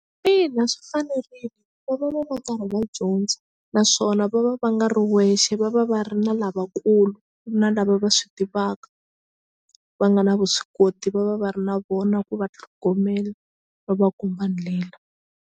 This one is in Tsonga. Ina swi fanerile va va va va karhi va dyondza naswona va va va nga ri wexe va va va ri na lavakulu na lava va swi tivaka va nga na vuswikoti va va va ri na vona ku va tlhogomela va va komba ndlela.